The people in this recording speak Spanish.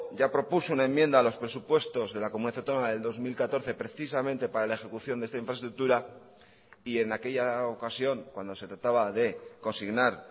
ya propuso una enmienda a los presupuestos de la comunidad autónoma del dos mil catorce precisamente para la ejecución de esta infraestructura y en aquella ocasión cuando se trataba de consignar